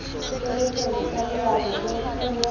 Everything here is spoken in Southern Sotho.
tshebetsong ha leano la puo